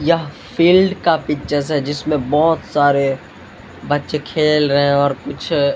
यह फील्ड का पिक्चर्स है जिसमें बहुत सारे बच्चे खेल रहे हैं और कुछ--